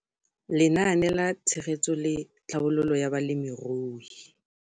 Lenaane la Tshegetso le Tlhabololo ya Balemirui.